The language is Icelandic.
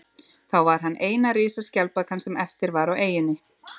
Þá var hann eina risaskjaldbakan sem eftir var á eyjunni.